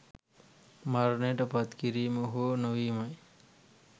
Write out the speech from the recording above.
මරණයට පත් කිරීම හෝ නොවීම යි.